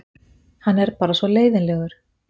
Hann er bara svona leiðinlegur.